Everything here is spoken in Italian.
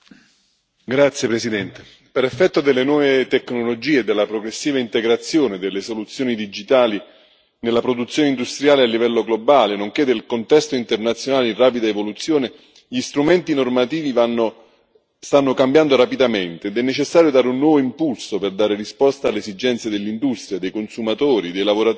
Signor Presidente, onorevoli colleghi, per effetto delle nuove tecnologie e della progressiva integrazione delle soluzioni digitali nella produzione industriale a livello globale, nonché del contesto internazionale in rapida evoluzione, gli strumenti normativi stanno cambiando rapidamente, ed è necessario dare un nuovo impulso per dare risposta alle esigenze dell'industria, dei consumatori, dei lavoratori,